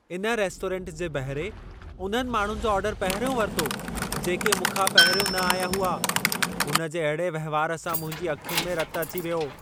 इन रेस्टोरेंट जे बहरे उन्हनि माण्हुनि जो ऑर्डर पहिरियों वरितो, जेके मूंखां पहिरियों न आया हुआ। हुन जे अहिड़े वहिंवार सां मुंहिंजी अखियुनि में रतु अची वियो।